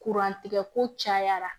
tigɛko cayara